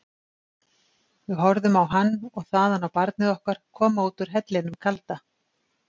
Við horfðum á hann og þaðan á barnið okkar koma út úr hellinum kalda.